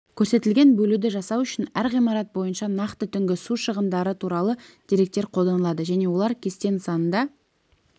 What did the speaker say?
көрсетілген бөлуді жасау үшін әр ғимарат бойынша нақты түнгі су шығындары туралы деректер қолданылады және олар кесте нысанында